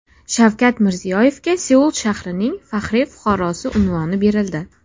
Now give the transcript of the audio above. Shavkat Mirziyoyevga Seul shahrining faxriy fuqarosi unvoni berildi.